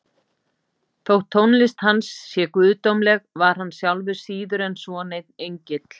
Þótt tónlist hans sé guðdómleg var hann sjálfur síður en svo neinn engill.